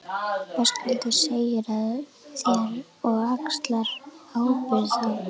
Höskuldur: Segir af þér og axlar ábyrgð þá?